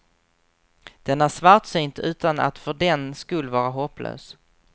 Den är svartsynt utan att för den skull vara hopplös.